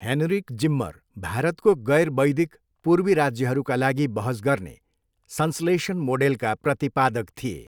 Heinrich Zimmer भारतको गैर वैदिक पूर्वी राज्यहरूका लागि बहस गर्ने संश्लेषण मोडेलका प्रतिपादक थिए।